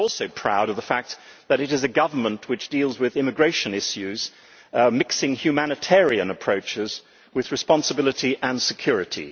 I am also proud of the fact that it is a government which deals with immigration issues by mixing humanitarian approaches with responsibility and security.